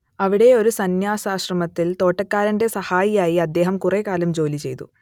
അവിടെ ഒരു സംന്യാസാശ്രമത്തിൽ തോട്ടക്കാരന്റെ സഹായിയായി അദ്ദേഹം കുറേക്കാലം ജോലിചെയ്തു